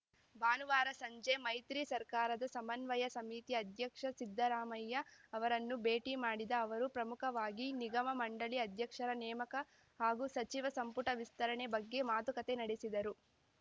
ಭಾನುವಾರ ಸಂಜೆ ಮೈತ್ರಿ ಸರ್ಕಾರದ ಸಮನ್ವಯ ಸಮಿತಿ ಅಧ್ಯಕ್ಷ ಸಿದ್ದರಾಮಯ್ಯ ಅವರನ್ನು ಭೇಟಿ ಮಾಡಿದ ಅವರು ಪ್ರಮುಖವಾಗಿ ನಿಗಮಮಂಡಳಿ ಅಧ್ಯಕ್ಷರ ನೇಮಕ ಹಾಗೂ ಸಚಿವ ಸಂಪುಟ ವಿಸ್ತರಣೆ ಬಗ್ಗೆ ಮಾತುಕತೆ ನಡೆಸಿದರು